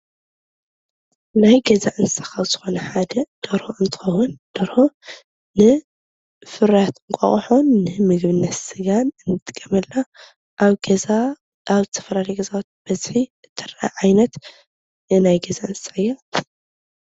ናይ ገዛ እንስሳ ካብ ዝኮነ ሓደ ደርሆ እንትከውን። ደርሆ ንፍርያት ኣንቃቆሖ ንምግብነት ስጋን ንጥቀምላ። ኣብ ገዛ ኣብ ዝተፈላለየዩ ገዛውቲ ብበዝሒ እትርአ ዓይነት ናይ ገዛ እንስሳ እያ።